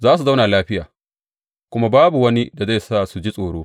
Za su zauna lafiya, kuma babu wani da zai sa su ji tsoro.